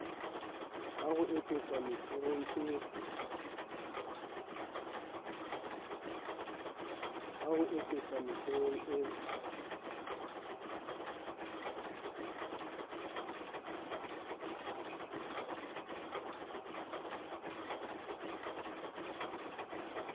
ha ho eketswa metheong e